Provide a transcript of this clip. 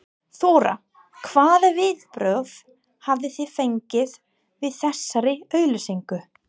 Þóra: Hvaða viðbrögð hafið þið fengið við þessari auglýsingu?